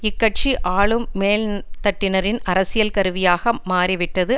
இக்கட்சி ஆளும் மேல் தட்டினரின் அரசியல் கருவியாக மாறிவிட்டது